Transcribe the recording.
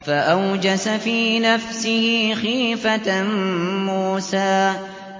فَأَوْجَسَ فِي نَفْسِهِ خِيفَةً مُّوسَىٰ